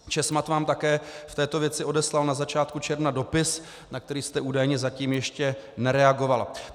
Česmad vám také v této věci odeslal na začátku června dopis, na který jste údajně zatím ještě nereagoval.